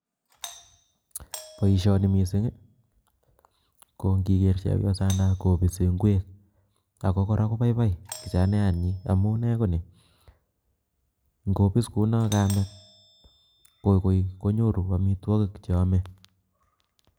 Poishoni mising ii ko ngiger chepyosana kopisis ngwek, ako kora kopaipai kichanyat nyi amunee konii, ngopis kunoo kamet ko koi konyoru amitwogik cheame.